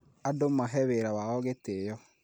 Andũ mahe wĩra wao gĩtĩo